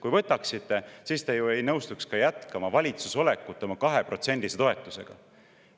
Kui võtaksite, siis te ju ei nõustuks jätkama valitsuses olekut oma 2%‑lise toetusega.